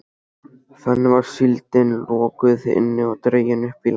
Þannig var síldin lokuð inni og dregin upp í land.